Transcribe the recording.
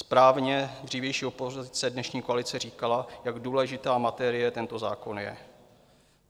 Správně dřívější opozice, dnešní koalice, říkala, jak důležitá materie tento zákon je.